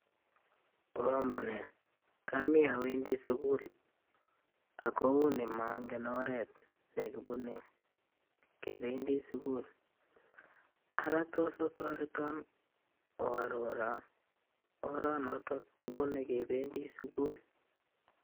"Oamunee? komi awendi sugul ago mongen oret ne kibune kebendi sugul. Ara tos otoreton oarorwon oranotok kibune kebendi sugul?"